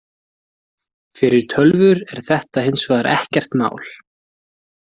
Fyrir tölvur er þetta hins vegar ekkert mál.